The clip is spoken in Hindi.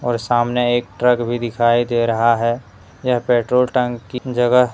और सामने एक ट्रक भी दिखाई दे रहा है यह पेट्रोल टंकी जगह --